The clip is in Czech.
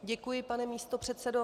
Děkuji, pane místopředsedo.